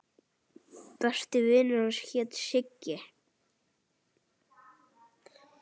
Besti vinur hans hét Siggi.